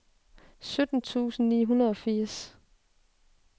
sytten tusind ni hundrede og firs